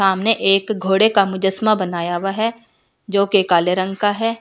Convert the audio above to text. सामने एक घोड़े का मुजस्मा बनाया हुआ है जोकि काले रंग का है।